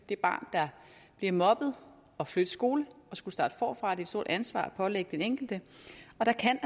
det barn der bliver mobbet at flytte skole og skulle starte forfra det er et stort ansvar at pålægge den enkelte og der kan